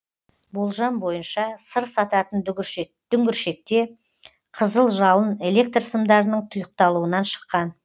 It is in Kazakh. болжам бойынша сыр сататын дүңгіршекте қызыл жалын электр сымдарының тұйықталуынан шыққан